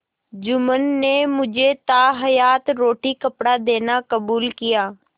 जुम्मन ने मुझे ताहयात रोटीकपड़ा देना कबूल किया